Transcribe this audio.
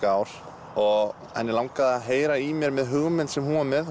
ár og hana langaði að heyra í mér með hugmynd sem hún var með